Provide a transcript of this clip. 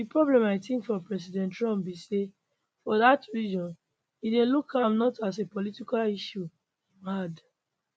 di problem i tink for president trump be say for dat region im dey look am not as a political issue im add